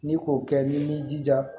Ni k'o kɛ n'i b'i jija